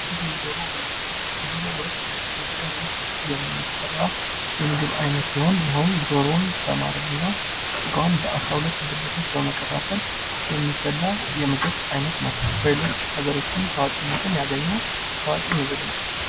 የዶሮ ወጥ በኢትዮጵያ ዉስጥ የሚሰራ የምግብ አይነት ሲሆን ይሀውም ዶሮውን በማረድ እና ስጋዉን በአስራ ሁለት ብልቶች በመከፋፈል የሚበላ የምግብ አይነት ነው። በሌሎች ሃገራትም ታዋቂነትን ያገኘ ታዋቂ ምግብ ነው።